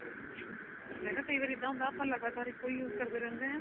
ਮੈਂ ਕਿਹਾ ਕਈ ਵਾਰੀ ਇੱਦਾਂ ਹੁੰਦਾ ਆਪਾਂ ਲਗਾਤਾਰ ਇੱਕੋ ਹੀ use ਕਰਦੇ ਰਹਿੰਦੇ ਆ